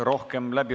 Aitäh!